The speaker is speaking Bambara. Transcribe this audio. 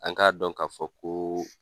An k'a dɔn k'a fɔ ko